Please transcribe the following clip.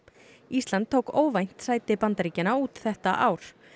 ísland tók óvænt sæti Bandaríkjanna út þetta ár